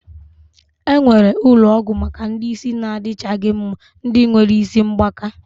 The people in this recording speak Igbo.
E nwere ulo ogwu Maka ndi isi na adichaghi mma. Ndi nwere isi mgbaka